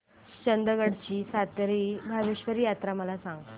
चंदगड ची सातेरी भावेश्वरी यात्रा मला सांग